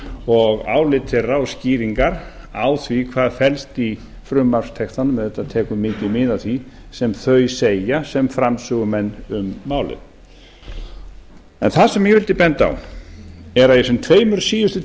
og álit þeirra og skýringar á því hvað felst í frumvarpstextanum auðvitað tekur mikið mið af því sem þau segja sem framsögumenn um málið en það sem ég vildi benda á er að í þessum tveimur síðustu